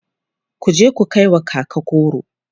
kuje ku kaiwa kaka goro!